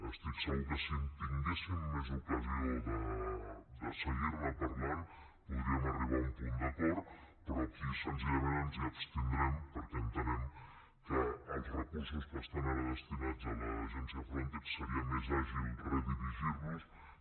estic segur que si tinguéssim més ocasió de seguir ne parlant podríem arribar a un punt d’acord però aquí senzillament ens abstindrem perquè entenem que els recursos que estan ara destinats a l’agència frontex seria més àgil redirigir los que